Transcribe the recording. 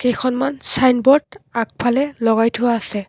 কেইখনমান ছাইনবোৰ্ড আগফালে লগাই থোৱা আছে।